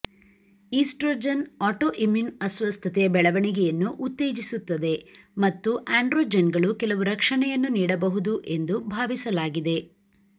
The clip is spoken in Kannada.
ಈಟ್ರೊಜೆನ್ ಆಟೋಇಮ್ಯೂನ್ ಅಸ್ವಸ್ಥತೆಯ ಬೆಳವಣಿಗೆಯನ್ನು ಉತ್ತೇಜಿಸುತ್ತದೆ ಮತ್ತು ಆಂಡ್ರೊಜೆನ್ಗಳು ಕೆಲವು ರಕ್ಷಣೆಯನ್ನು ನೀಡಬಹುದು ಎಂದು ಭಾವಿಸಲಾಗಿದೆ